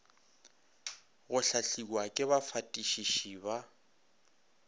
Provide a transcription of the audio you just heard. go hlahliwa ke bafatišiši ba